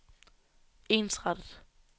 ensrettet